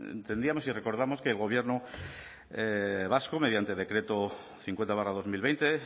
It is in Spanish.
entendíamos y recordamos que el gobierno vasco mediante decreto cincuenta barra dos mil veinte